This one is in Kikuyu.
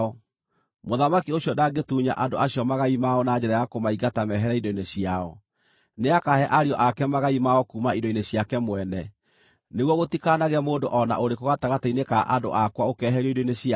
Mũthamaki ũcio ndangĩtunya andũ acio magai mao na njĩra ya kũmaingata mehere indo-inĩ ciao. Nĩakahe ariũ ake magai mao kuuma indo-inĩ ciake mwene, nĩguo gũtikanagĩe mũndũ o na ũrĩkũ gatagatĩ-inĩ ka andũ akwa ũkeeherio indo-inĩ ciake.’ ”